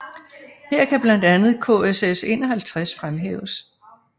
Her kan blandt andet KSS 51 fremhæves